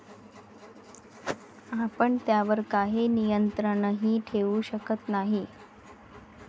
आपण त्यावर काही नियंत्रणही ठेवू शकत नाही.